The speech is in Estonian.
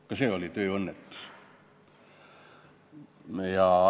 Ka see oli tööõnnetus.